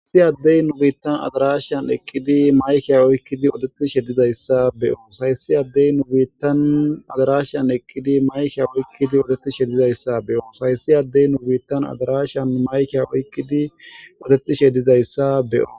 Hayssi addey nu biittan addarashan eqqidi maykke oykkidi oddetishe diizayssa be'oss hayssi addey nu biittan addarashan eqqidi maykke oykkidi oddetishe diizayssa be'oss hayssi addey nu biittan addarashan eqqidi maykke oykkidi oddetishe diizayssa be'oss